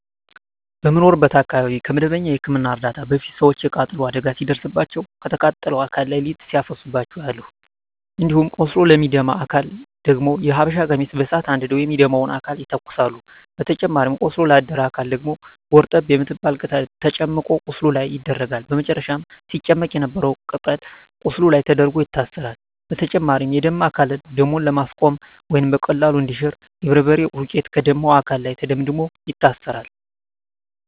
በምኖርበት አካባቢ ከመደበኛ የህክምና እርዳታ በፊት ሰወች የቃጠሎ አደጋ ሲደርስባቸው ከተቃጠለው አካል ላይ ሊጥ ሲያፈሱባቸው አያለሁ። እንዲሁም ቆስሎ ለሚደማ አካል ደግሞ የሀበሻ ቀሚስ በሳት አንድደው የሚደማውን አካል ይተኩሳሉ በተጨማሪም ቆስሎ ላደረ አካል ደግሞ ጎርጠብ የምትባል ቅጠል ተጨምቆ ቁስሉ ላይ ይደረጋል በመጨረም ሲጨመቅ የነበረው ቅጠል ቁስሉ ላይ ተደርጎ ይታሰራል። በተጨማሪም የደማ አካልን ደሙን ለማስቆመረ ወይም በቀላሉ እንዲያሽ የበርበሬ ዱቄት ከደማው አካል ላይ ተደምድሞ ይታሰራል።